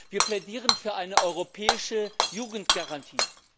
Wir plädieren für eine europäische Jugendgarantie.